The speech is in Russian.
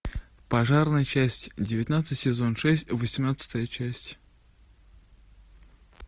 пожарные часть девятнадцать сезон шесть восемнадцатая часть